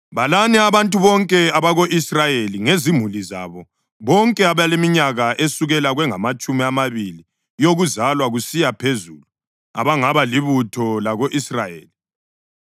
“Balani abantu bonke abako-Israyeli ngezimuli zabo bonke abaleminyaka esukela kwengamatshumi amabili yokuzalwa kusiya phezulu abangaba libutho lako-Israyeli.”